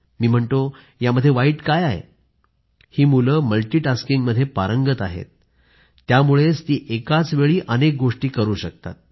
मी म्हणतो यामध्ये वाईट काय आहे ही मुलं मल्टीटास्किंगमध्ये पारंगत आहेत त्यामुळेच ती एकाचवेळी अनेक गोष्टी करू शकतात